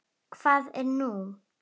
Hvað er nú?